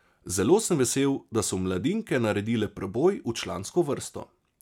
Zelo sem vesel, da so mladinke naredile preboj v člansko vrsto.